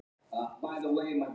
"""Jæja, hvað um það."""